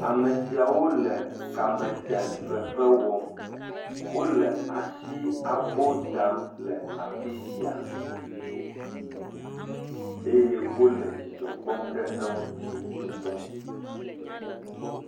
Ame siawo le kametefefe wɔm. wole asiabo dam le afi sia eye wo le dzidzɔ kpɔm ɖe eŋuti ŋutɔ.